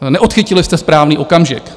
Neodchytili jste správný okamžik.